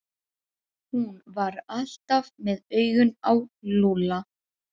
Hún var alltaf með augun á Lúlla.